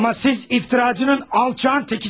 Amma siz iftiracının, alçağın tekisiniz.